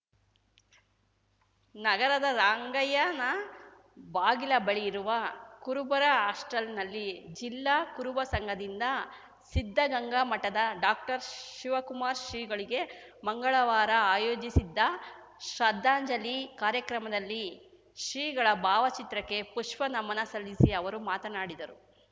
ನಗರದ ರಂಗಯ್ಯನ ಬಾಗಿಲ ಬಳಿ ಇರುವ ಕುರುಬರ ಹಾಸ್ಟೆಲ್‌ನಲ್ಲಿ ಜಿಲ್ಲಾ ಕುರುಬ ಸಂಘದಿಂದ ಸಿದ್ಧಗಂಗಾ ಮಠದ ಡಾಕ್ಟರ್ಶಿವಕುಮಾರ ಶ್ರೀಗಳಿಗೆ ಮಂಗಳವಾರ ಆಯೋಜಿಸಿದ್ದ ಶ್ರದ್ಧಾಂಜಲಿ ಕಾರ್ಯಕ್ರಮದಲ್ಲಿ ಶ್ರೀಗಳ ಭಾವಚಿತ್ರಕ್ಕೆ ಪುಷ್ಪನಮನ ಸಲ್ಲಿಸಿ ಅವರು ಮಾತನಾಡಿದರು